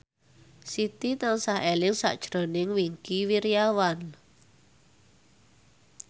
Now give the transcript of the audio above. Siti tansah eling sakjroning Wingky Wiryawan